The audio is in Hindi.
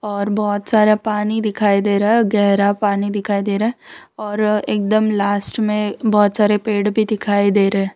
और बहोत सारा पानी दिखाई दे रहा है गहरा पानी दिखाई दे रहा और एकदम लास्ट में बहोत सारे पेड़ भीं दिखाई दे र --